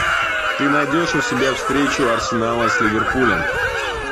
ты найдешь у себя встречу арсенала с ливерпулем